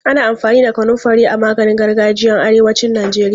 Ana amfani da kanunfari a maganin gargajiyan arewacin Najeriya.